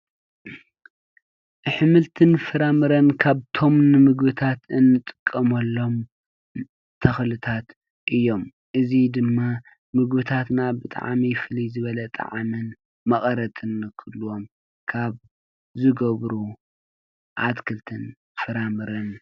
ኣሕምልትን ፍራምረን ካብቶም ንምግብታት እንጥቀመሎም ተኽእልታት እዮም። እዚ ድማ ምግብታትና ብጣዕሚ ፍልይ ዝበለ ጣዕምን መቐረትን ክህልዎም ካብ ዝገብሩ ኣትክትን ፍራምረን።